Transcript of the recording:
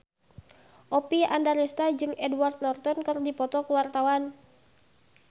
Oppie Andaresta jeung Edward Norton keur dipoto ku wartawan